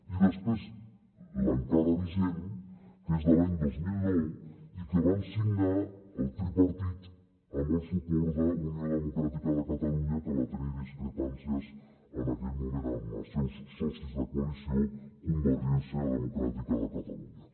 i després l’encara vigent que és de l’any dos mil nou i que van signar el tripartit amb el suport d’unió democràtica de catalunya que va tenir discrepàncies en aquell moment amb els seus socis de coalició convergència democràtica de ca·talunya